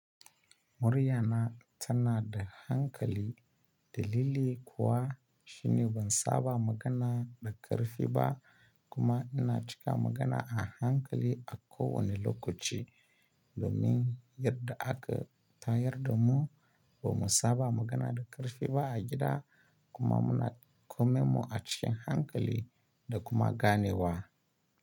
Murya na tana da hankali dalili kuwa shi newan saba magana da karfi ba kuma ina cika magana a hankali a ko wane lokaci domin yarda aka tayar da mu ba mu saba magana da karfi ba a gida kuma muna kome mu a cikin hankali da kuma gane wa.